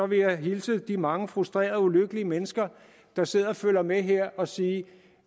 vil jeg hilse de mange frustrerede og ulykkelige mennesker der sidder og følger med her og sige